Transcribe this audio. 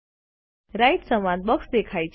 right સંવાદ box દેખાય છે